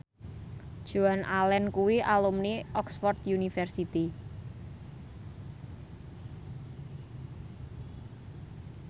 Joan Allen kuwi alumni Oxford university